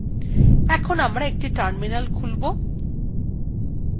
এখন আমারা একটি terminal খুলব